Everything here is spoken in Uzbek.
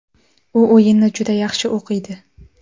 U o‘yinni juda yaxshi o‘qiydi.